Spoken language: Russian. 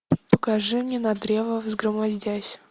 покажи мне на древо взгромоздясь